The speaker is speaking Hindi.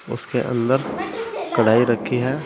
उसके अंदर कढ़ाई रखी है।